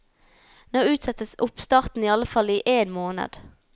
Nå utsettes oppstarten i alle fall i én måned.